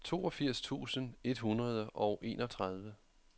toogfirs tusind et hundrede og enogtredive